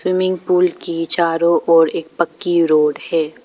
Swimming pool के चारों ओर एक पक्की रोड है।